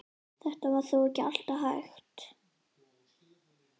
Þetta var þó ekki alltaf hægt.